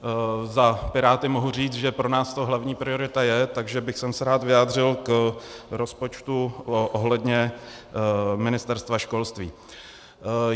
Za Piráty mohu říct, že pro nás to hlavní priorita je, takže bych se rád vyjádřil k rozpočtu ohledně Ministerstva školství.